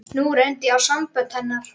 Nú reyndi á sambönd hennar.